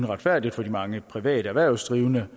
retfærdigt for de mange private erhvervsdrivende